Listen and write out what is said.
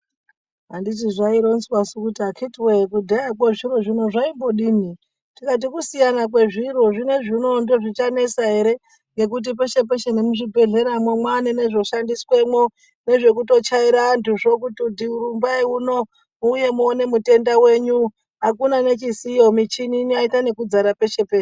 Anditi zvaironzwasu kuti akhiti woye kudhayakwo zviro zvino zvaimbodini. Tikati kusiyana kwezviro , zvinezvi unowu zvichanesa ere ngekuti peshe peshe nemuzvibhedhleremwo mwaane nezvoshandiswemwe nezvekuto chaira antuzvo kuti rumbai uno muuye muone mutenda wenyu akuna nechisiyo muchini yaita ekudza peshe peshe.